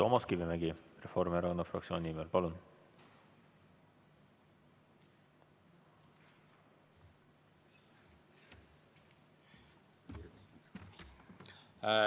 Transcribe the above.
Toomas Kivimägi Reformierakonna fraktsiooni nimel, palun!